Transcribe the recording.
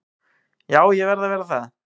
Jú, ég verð að vera það.